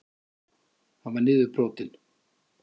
Hann var niðurbrotinn.